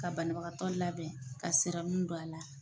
Ka banabagatɔ labɛn ka don a la